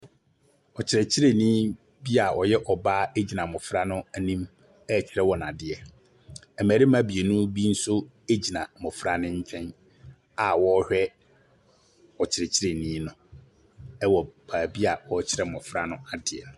Ɔkyerɛkyerɛni bi a ɔyɛ ɔbaa gyina mmɔfra no anim rekyerɛ wɔn adeɛ. Mmarima mmienu bi nso gyina mmɔfra no nkyɛ a wɔrehwɛ ɔkyerɛkyerɛni no wɔ baabi a ɔrekyerɛ mmɔfra no adeɛ.